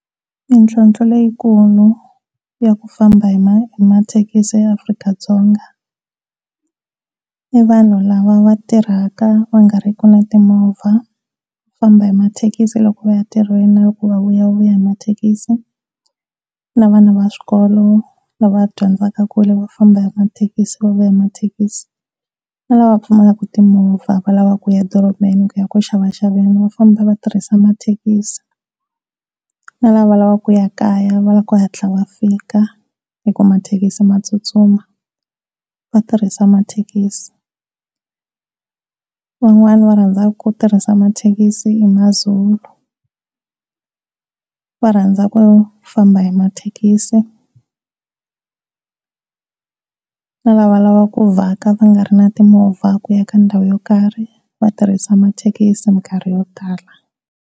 Mintlhotlho leyikulu ya ku famba hi mathekisi a Afrika-Dzonga. I vanhu lava va tirhaka va nga ri ki na timovha va famba hi mathekisi loko va ya ntirhweni na loko va vuya, va vuya hi mathekisi na vana va swikolo lava dyondzaka ekule va famba hi mathekisi va vuya hi mathekisi, na lava pfumaka timovha va lavaku kuya emadorobeni eku xavaxaveni va famba vatirhisa mathekisi, na lava lava ku ya kaya va lavaka ku hatla va fika hi ku mathekisi ma tsutsuma va tirhisa mathekisi van'wana va rhanzaka ku tirhisa mathekisi i maZulu va rhandza ku famba hi mathekisi, na la va va lava ku vaka vangari na timovha ku ya ka ndhawu yo karhi vatirhisi mathekisi minkarhi yo tala.